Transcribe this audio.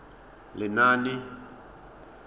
lenaane